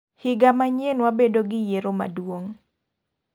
Higa manyien wabedo gi yiero maduong.